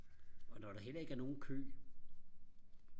og når der heller ikke er nogen kø